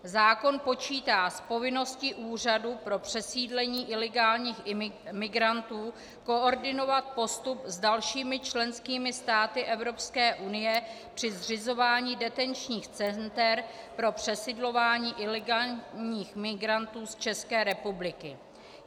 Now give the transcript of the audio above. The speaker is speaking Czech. Zákon počítá s povinností úřadu pro přesídlení ilegálních migrantů koordinovat postup s dalšími členskými státy Evropské unie při zřizování detenčních center pro přesidlování ilegálních migrantů z České republiky.